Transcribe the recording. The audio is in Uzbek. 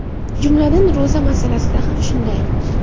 Jumladan, ro‘za masalasida ham shunday.